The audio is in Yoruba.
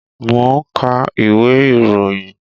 Mo n ka ìwé ìròyìn